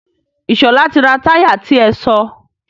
Ìṣọ̀lá ti ra táyà ti ẹ sọ.